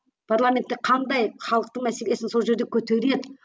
парламентте қандай халықтың мәселесін сол жерде көтереді